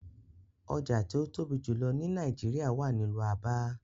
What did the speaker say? Oja ti o tobi julọ ni Naijiria wa ni ilu Aba